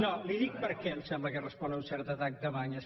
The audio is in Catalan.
no li dic perquè em sembla que respon a un cert atac de banyes